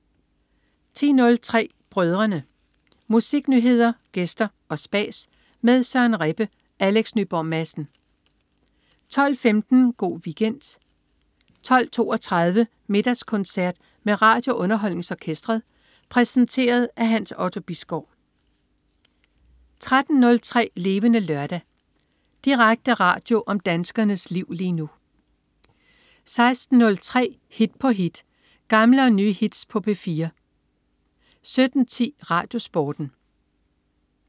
10.03 Brødrene. Musiknyheder, gæster og spas med Søren Rebbe og Alex Nyborg Madsen 12.15 Go' Weekend 12.32 Middagskoncert med RadioUnderholdningsOrkestret. Præsenteret af Hans Otto Bisgaard 13.03 Levende Lørdag. Direkte radio om danskernes liv lige nu 16.03 Hit på hit. Gamle og nye hits på P4 17.10 RadioSporten